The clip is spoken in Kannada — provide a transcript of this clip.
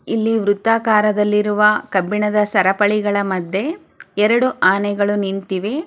ಇಲ್ಲಿ ವ್ರತಕಾರದಲ್ಲಿ ಇರುವ ಕಬ್ಬಿಣದ ಸರಪಳಿಗಳ ಮದ್ಯೆ ಎರೆಡು ಆನೆಗಳು ನಿಂತಿವೆ.